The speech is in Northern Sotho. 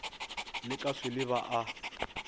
le ka swele ba a